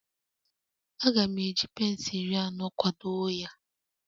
Aga m eji pence iri anọ kwado ya